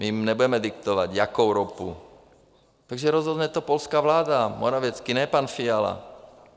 My jim nebudeme diktovat, jakou ropu, takže rozhodne to polská vláda, Morawiecki, ne pan Fiala.